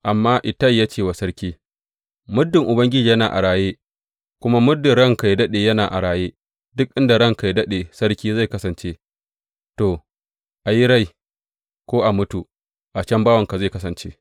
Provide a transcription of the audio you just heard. Amma Ittai ya ce wa sarki, Muddin Ubangiji yana a raye kuma muddin ranka yă daɗe yana a raye, duk inda ranka yă daɗe sarki zai kasance, ko a yi rai ko a mutu, a can bawanka zai kasance.